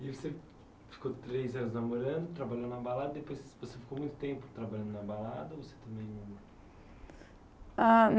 E você ficou três anos namorando, trabalhando na balada, depois você ficou muito tempo trabalhando na balada, ou você também. Ah